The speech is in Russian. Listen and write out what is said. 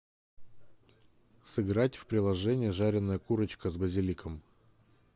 сыграть в приложение жареная курочка с базиликом